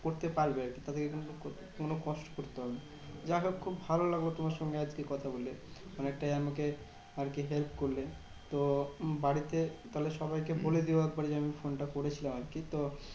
করতে পারবে আরকি। তাদেরকে কিন্তু কোনো কষ্ট করতে হবে না। যাহোক খুব ভালো লাগলো তোমার সঙ্গে আজকে কথা বলে। অনেকটাই আমাকে আরকি help করলে। তো বাড়িতে তাহলে সবাইকে বলে দিও একবার যে আমি ফোনটা করেছিলাম আরকি। তো